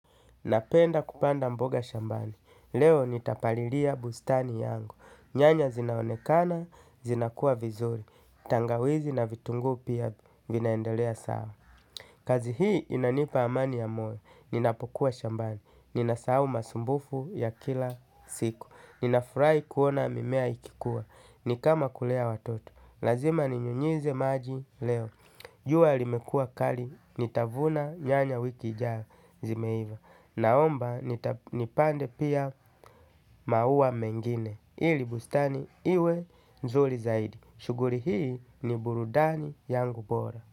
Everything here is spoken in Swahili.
Napenda kupanda mboga shambani. Leo nitapaliria bustani yangu. Nyanya zinaonekana, zinakua vizuri. Tangawizi na vitungu pia vinaendelea sawa. Kazi hii inanipa amani ya moyo ninapokuwa shambani, ninasahau masumbufu ya kila siku, ninafurai kuona mimea ikikuwa, nikama kulea watoto, lazima ninyunyeze maji leo, jua limekua kali, nitavuna nyanya wiki ijayo zimeiva, naomba nipande pia maua mengine, ilibustani iwe nzuri zaidi, shuguri hii ni burudani yangu bora.